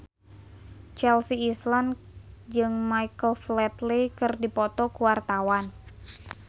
Chelsea Islan jeung Michael Flatley keur dipoto ku wartawan